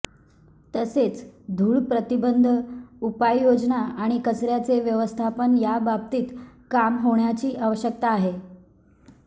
तसेच धूलप्रतिबंध उपाययोजना आणि कचऱ्याचे व्यवस्थापन याबाबतीत काम होण्याची आवश्यकता आहे